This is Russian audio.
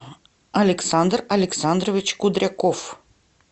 александр александрович кудряков